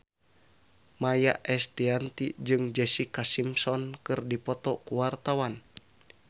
Maia Estianty jeung Jessica Simpson keur dipoto ku wartawan